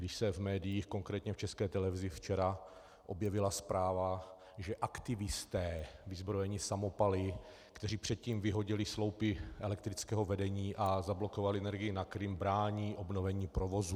Když se v médiích, konkrétně v České televizi, včera objevila zpráva, že aktivisté vyzbrojení samopaly, kteří předtím vyhodili sloupy elektrického vedení a zablokovali energii na Krym, brání obnovení provozu.